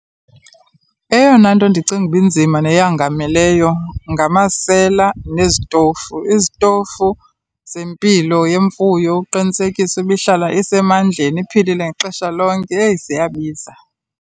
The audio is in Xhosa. Eyona nto ndicinga uba inzima neyangameleyo ngamasela nezitofu, izitofu zempilo yemfuyo, ukuqinisekisa ba ihlala isemandleni iphilile ngexesha lonke, heyi, ziyabiza.